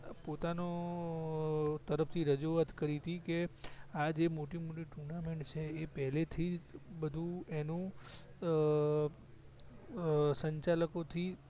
પોતાના તરફ થી રજુવાત કરી તી કે આજે મોટી મોટી tournament છે એ પહેલે થી બધું એનું અ અ સંચાલકો થી